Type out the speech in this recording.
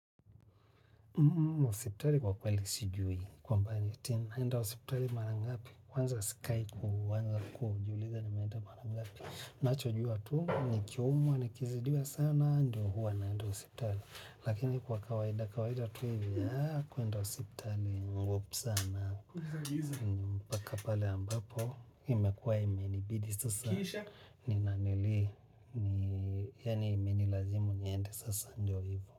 Hosipitali kwa kweli sijui. Kwamba ati, naenda hospitali marangapi, kwanza sikai uko, kujiuliza, nimeenda marangapi. Nacho jua tu nikiumwa nikizidiwa sana ndio hua naenda hospitali. Lakini kwa kawaida, kawaida tu hivi, kuenda hosiptali, ngumu sana, mpaka pale ambapo, imekuwa imenibidi sasa, nina nili, yaani imenilazimu niende sasa ndio hivo.